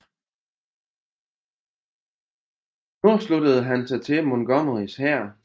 Nu sluttede han sig til Montgomerys hær